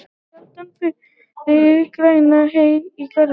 Sjaldan fyrnast græn hey í garði.